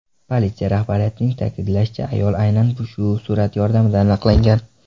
Politsiya rahbariyatining ta’kidlashicha, ayol aynan shu surat yordamida aniqlangan.